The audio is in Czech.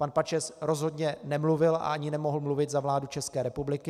Pan Pačes rozhodně nemluvil a ani nemohl mluvit za vládu České republiky.